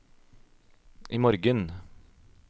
imorgen